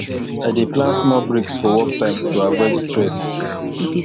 i dey plan small breaks for work time to avoid stress